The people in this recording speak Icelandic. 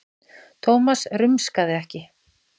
Thomas rumskaði ekki.